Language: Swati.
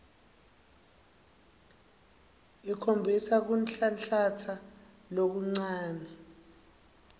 ikhombisa kunhlanhlatsa lokuncane